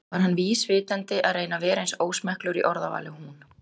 var hann vísvitandi að reyna að vera eins ósmekklegur í orðavali og hún?